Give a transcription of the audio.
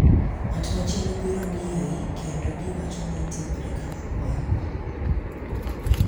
Ng’at machielo biro ng’iyoi kendo giwacho ni itimore kaka kwaru.